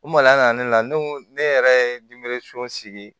U mali la na ne la ne ko ne yɛrɛ ye sigi